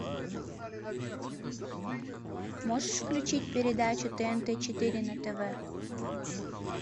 можешь включить передачу тнт четыре на тв